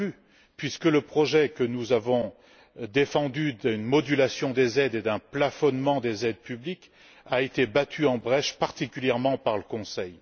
Non plus, puisque le projet que nous avons défendu de modulation des aides et d'un plafonnement des aides publiques a été battu en brèche, particulièrement par le Conseil.